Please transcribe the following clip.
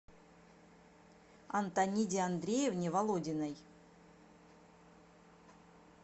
антониде андреевне володиной